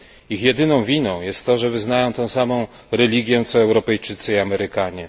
Ich jedyną winą jest to, że wyznają tę samą religię co Europejczycy i Amerykanie.